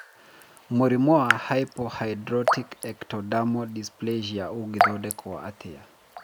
Mũrimũ wa hypohydrotic ectodermal dysplasia ũngĩthondekwo atĩa?